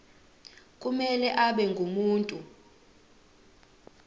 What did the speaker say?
kumele abe ngumuntu